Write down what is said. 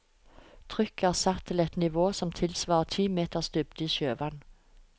Trykket er satt til et nivå som tilsvarer ti meters dybde i sjøvann.